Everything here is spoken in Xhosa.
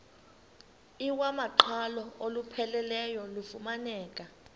iwamaqhalo olupheleleyo lufumaneka